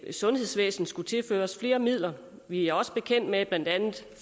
at sundhedsvæsenet skulle tilføres flere midler og vi er også bekendt med at blandt andet